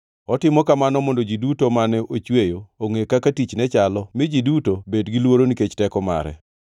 Otimo kamano mondo ji duto mane ochweyo, ongʼe kaka tichne chalo mi ji duto bed gi luoro nikech teko mare.